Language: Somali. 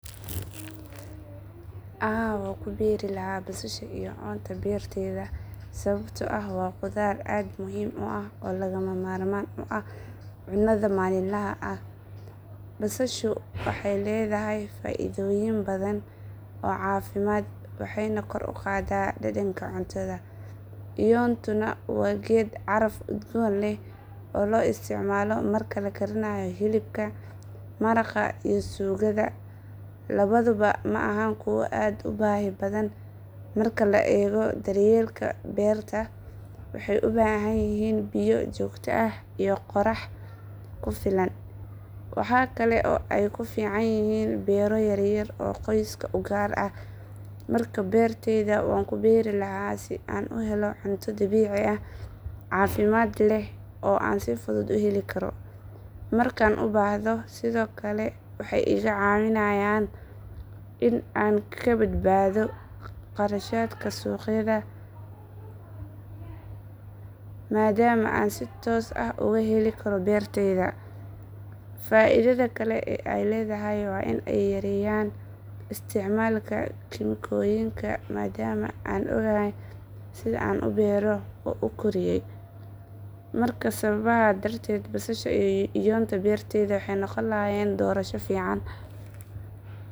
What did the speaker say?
Haa waan ku beeri lahaa basasha iyoonta beertayda sababtoo ah waa khudaar aad u muhiim ah oo lagama maarmaan u ah cunnada maalinlaha ah. Basashu waxay leedahay faa’iidooyin badan oo caafimaad waxayna kor u qaadaa dhadhanka cuntada. Iyoontuna waa geed caraf udgoon leh oo la isticmaalo marka la karinayo hilibka, maraqa, iyo suugada. Labaduba ma ahan kuwo aad u baahi badan marka la eego daryeelka beerta, waxay u baahan yihiin biyo joogto ah iyo qorax ku filan. Waxa kale oo ay ku fiican yihiin beero yaryar oo qoyska u gaar ah. Markaa beertayda waan ku beerilahaa si aan u helo cunto dabiici ah, caafimaad leh, oo aan si fudud u heli karo markaan u baahdo. Sidoo kale waxay iga caawinayaan in aan ka badbaado kharashaadka suuqyada maadaama aan si toos ah uga heli karo beertayda. Faa’iidada kale ee ay leedahay waa in ay yareeyaan isticmaalka kiimikooyinka maadaama aan ogahay sida aan u beero oo u koriyeey. Marka sababahan darteed, basasha iyo iyonda beertayda waxay noqon lahaayeen doorasho fiican.